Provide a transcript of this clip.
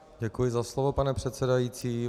Děkuji za slovo, pane předsedající.